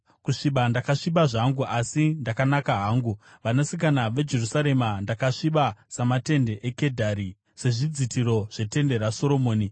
Kusviba ndakasviba zvangu, asi ndakanaka hangu, vanasikana veJerusarema, ndakasviba samatende eKedhari, sezvidzitiro zvetende raSoromoni.